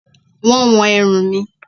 Wọ́n wọn ẹrù mi